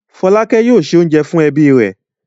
Fọ́lákẹ́ yóò se oúnjẹ fún ẹbí rẹ̀.